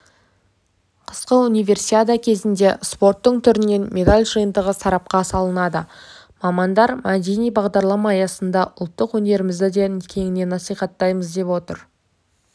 қысқы универсиада кезінде спорттың түрінен медаль жиынтығы сарапқа салынады мамандар мәдени бағдарлама аясында ұлттық өнерімізді де кеңінен насихаттаймыз деп отыр